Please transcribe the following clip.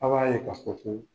A b'a ye kafɔ ko